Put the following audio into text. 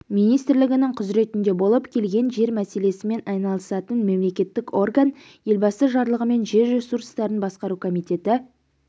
министрлігінің құзыретінде болып келген жер мәселесімен айналысатын мемлекеттік орган елбасы жарлығымен жер ресурстарын басқару комитеті